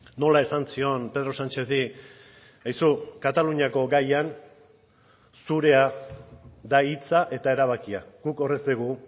nola esan zion pedro sánchezi aizu kataluniako gaian zurea da hitza eta erabakia guk hor ez dugu